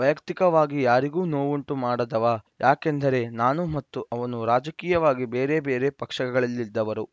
ವೈಯಕ್ತಿಕವಾಗಿ ಯಾರಿಗೂ ನೋವುಂಟು ಮಾಡದವ ಯಾಕೆಂದರೆ ನಾನು ಮತ್ತು ಅವನು ರಾಜಕೀಯವಾಗಿ ಬೇರೆ ಬೇರೆ ಪಕ್ಷಗಳಲ್ಲಿದ್ದವರು